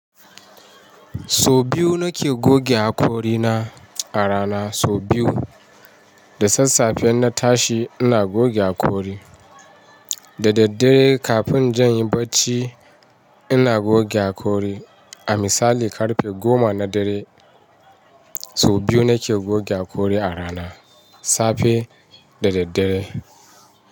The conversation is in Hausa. Sau biyu nake goge hakori na a rana. Sau biyu, da sassafe na tashi ina goge hakori, da daddare kafin inje in yi barci ina goge hakori. A misali karfe goma na dare, sau biyu nake goge hakori a rana, safe da daddare.